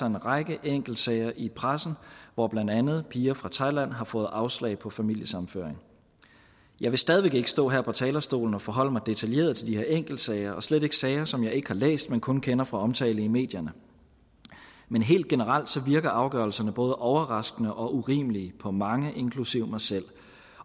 en række enkeltsager i pressen hvor blandt andet piger fra thailand har fået afslag på familiesammenføring jeg vil stadig væk ikke stå her på talerstolen og forholde mig detaljeret til de her enkeltsager og slet ikke til sager som jeg ikke har læst men kun kender fra omtale i medierne men helt generelt virker afgørelserne både overraskende og urimelige på mange inklusive mig selv